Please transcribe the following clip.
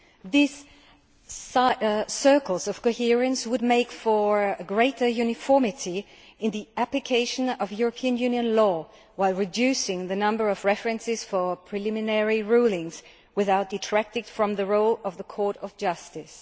These circles of coherence would make for greater uniformity in the application of European Union law, while reducing the number of references for preliminary rulings, without detracting from the role of the Court of Justice.